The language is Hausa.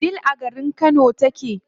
Wudil a garin Kano take.